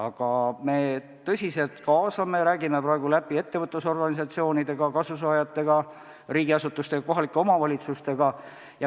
Aga me tõsiselt kaasame teisi osapooli, räägime praegu läbi ettevõtlusorganisatsioonide, kasusaajate, riigiasutuste ja kohalike omavalitsustega.